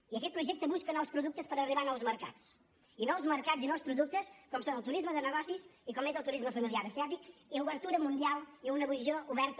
i aquest projecte busca nous productes per arribar a nous mercats i nous mercats i nous productes com són el turisme de negocis i com és el turisme familiar asiàtic i obertura mundial i una posició oberta